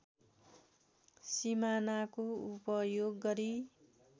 सिमानाको उपयोग गरी